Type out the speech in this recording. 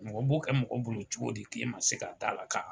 Mɔgɔ b'o kɛ mɔgɔ bolo cogo di k'e ma se ka taa la ka